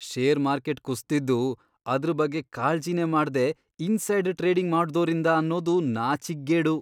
Share market ಕುಸ್ದಿದ್ದು ಅದ್ರ್ ಬಗ್ಗೆ ಕಾಳ್ಜಿನೇ ಮಾಡ್ದೇ ಇನ್ಸೈಡ್ ಟ್ರೇಡಿಂಗ್ ಮಾಡ್ದೋರಿಂದ ಅನ್ನೋದು ನಾಚಿಕ್ಗೇಡು.